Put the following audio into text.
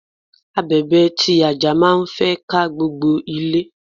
Abèbè ti àjà máa ń fẹ́ ká gbogbo ilé.